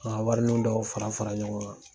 ka warininw dɔw fara fara ɲɔgɔn kan.